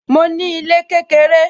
Mo ní ilé kékeré